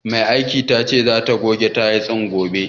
Mai aikin tace zata goge tayil din gobe.